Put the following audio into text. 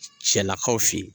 cɛlakaw fɛ yen.